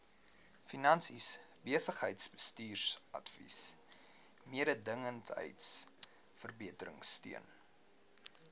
finansies besigheidsbestuursadvies mededingendheidsverbeteringsteun